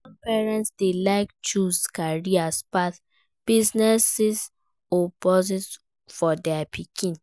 Some parents de like choose career path, business or spouse for their pikin